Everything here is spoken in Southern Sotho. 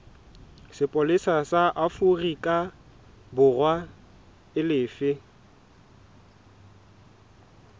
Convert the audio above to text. sepolesa sa aforikaborwa e lefe